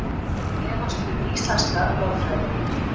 Efast um íslenska lögfræði